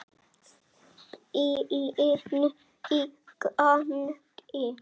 Bíllinn í gangi.